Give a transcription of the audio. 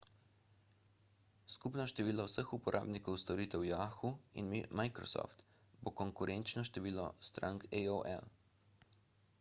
skupno število vseh uporabnikov storitev yahoo in microsoft bo konkurenčno številu strank aol